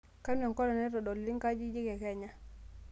kanu enkolong naitodoluni nkajijik e kenya